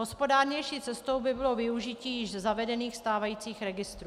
Hospodárnější cestou by bylo využití již zavedených stávajících registrů.